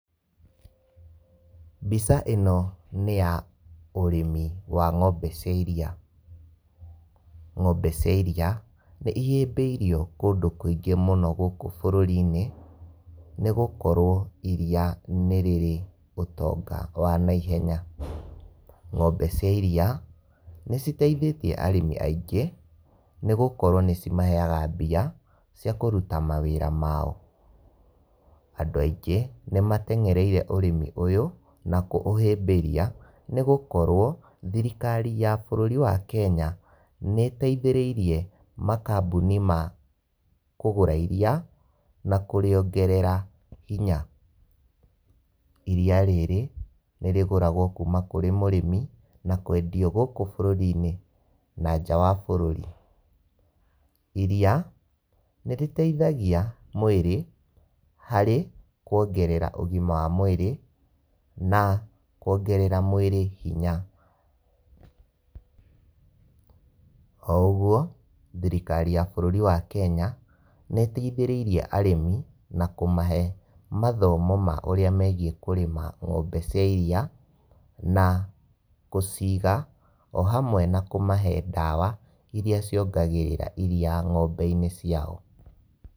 Mbica ĩno nĩ ya ũrĩmi wa ng'ombe cia iria. Ng'ombe cia iria, nĩihĩmbĩirio kũndũ kũingĩ mũno gũkũ bũrũri-inĩ, nĩgũkorwo iria nĩrĩrĩ ũtonga wa naihenya. Ng'ombe cia iria, nĩciteithĩtie arĩmi aingĩ, nĩgũkorwo nĩcimaheaga mbia cia kũruta mawĩra mao. Andũ aingĩ nĩmatengereire ũrĩmi ũyũ na kũũhĩmbĩria nĩgũkorwo thirikari ya bũrũri wa Kenya nĩĩteithĩrĩirie makambũni ma kũgũra iria na kũrĩongerera hinya. Iria rĩrĩ nĩrĩgũragwo kuma kũrĩ mũrĩmi na kwendio gũkũ bũrũri-inĩ na nja wa bũrũri. Iria nĩrĩteithagia mwĩrĩ harĩ kuongerera ũgima wa mwĩrĩ na kuongerera mwĩrĩ hinya. Ouguo thirikari ya bũrũri wa Kenya nĩĩteithĩrĩirie arĩmi na kũmahe mathomo ma ũrĩa megiĩ kũrĩma ng'ombe cia iria na gũciiga, o hamwe na kũmahe ndawa iria ciongagĩrĩra iria ng'ombe-inĩ ciao.